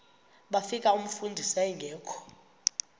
bafika umfundisi engekho